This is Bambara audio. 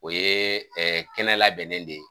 O ye kɛnɛ labɛnnen de ye.